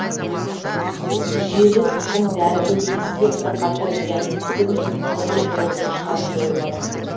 жүйелі тұқым дәрілеу кезінде бірқатар зиянкестер мен ауру қоздырғыштары жойылады